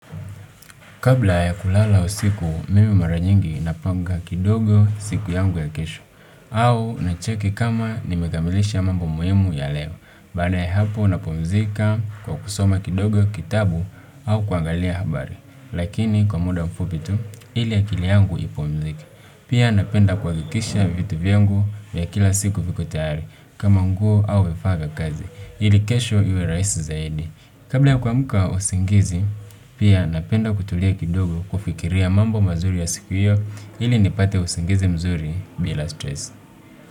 Kabla ya kulala usiku, mimi mara nyingi napanga kidogo siku yangu ya kesho. Au na cheki kama nimekamilisha mambo muhimu ya leo. Baada ya hapo napumzika kwa kusoma kidogo kitabu au kuangalia habari. Lakini kwa muda mfupi tu, ili akili yangu ipumzike. Pia napenda kuhakikisha vitu vyangu vya kila siku viko tayari. Kama nguo au vifaa vya kazi. Ili kesho iwe rahisi zaidi kabla ya kuamka usingizi, pia napenda kutulia kidogo kufikiria mambo mazuri ya siku hiyo ili nipate usingizi mzuri bila stressi.